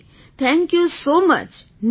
G thank you so much